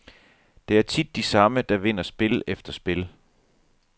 Det er tit de samme, der vinder spil efter spil.